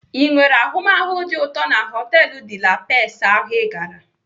Ị nwere ahụmahụ dị ụtọ na họtelu De la Pex ahụ I gara?